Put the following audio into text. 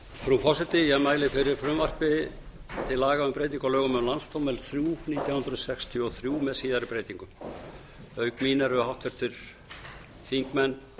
frú forseti ég mæli fyrir frumvarpi til laga um breytingu á lögum um landsdóm númer þrjú nítján hundruð sextíu og þrjú með síðari breytingum auk mín eru háttvirtir þingmenn